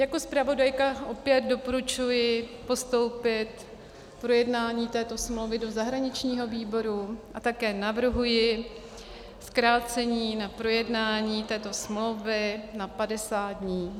Jako zpravodajka opět doporučuji postoupit projednání této smlouvy do zahraničního výboru a také navrhuji zkrácení na projednání této smlouvy na 50 dnů.